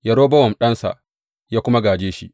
Yerobowam ɗansa, ya kuma gāje shi.